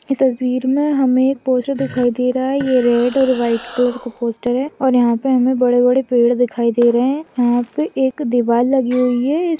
इस तस्वीर मे हमे पोस्टर दिखाई दे रहा है ये रेड और व्हाइट कलर का पोस्टर है और यहाँ पे हमे बड़े बड़े पेड़ दिखाई दे रहे है। यहाँ पे एक दीवार लगी हुई है।